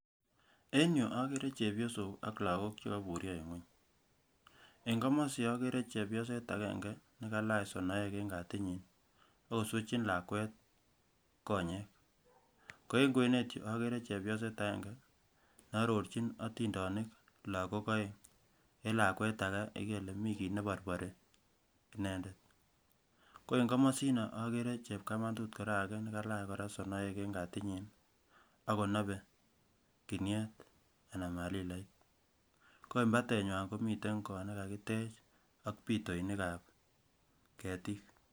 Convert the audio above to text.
En yuu okere chepyosok ak lakok chekoiburyo en ngwony en komosi okere chepyoset agenge nekailach sonoek en kati nyin akoswechin lakwet konyech ko en kwenet yuu okere chepyoset agenge ne ororgin otindonik lokok aeng en lakwet ake ikere ile mii kit neborpori inendet, ko en komosino okere chepkamatu koraa ake nekilach koraa sonoek en kati nyin ak konobe kinyet ana malilait ko en patenywan komiten kot nekakitech ak pitoinik ab ketik.